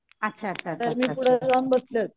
अच्छा अच्छा अच्छा अच्छा अच्छा